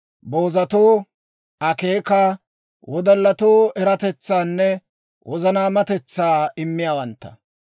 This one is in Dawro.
boozatoo akeeka, wodallatoo eratetsaanne wozanaamatetsaa immiyaawantta.